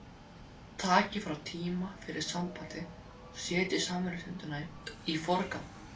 Takið frá tíma fyrir sambandið og setjið samverustundirnar í forgang